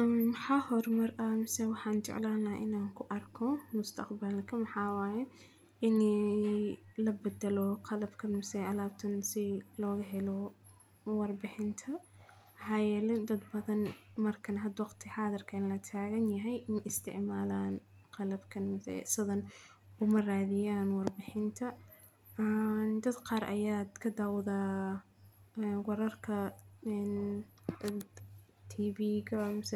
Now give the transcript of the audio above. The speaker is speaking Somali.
Ee xahoor mar ah misa waxaan jeclana inaan ku arko mustaqbal ka maxaaya inay la beddelo qalabkan misa alaabtani si looga helo warbixinta. Xayalin dad badan markaan ha doogti xaadar ka in la taagan yahay in isticmaalaan qalabkan misa sadan umaraadiyaan warbixinta. Aan dad qaar ayaad ka daawdaa wararka in dhabt TV ga mis